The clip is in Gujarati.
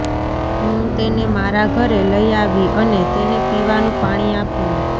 હું તેને મારા ઘરે લઈ આવી અને તેને પીવાનું પાણી આપ્યું